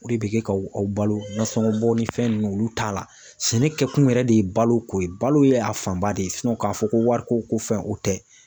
O de be kɛ ka aw balo nasɔngɔ bɔ ni fɛn nunnu olu t'a la sɛnɛkɛ kun yɛrɛ de balo ko ye balo ye a fanba de ye sinɔn k'a fɔ ko wariko fɛn o tɛ